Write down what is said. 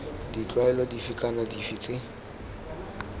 ditlwaelo dife kana dife tse